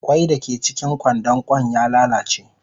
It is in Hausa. Kwai dake cikin kwandon kwan ya lalace.